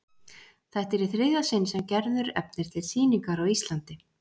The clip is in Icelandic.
Þetta er í þriðja sinn sem Gerður efnir til sýningar á Íslandi.